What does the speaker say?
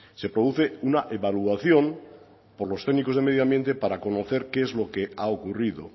se produce una evaluación por los técnicos de medio ambiente para conocer qué es lo que ha ocurrido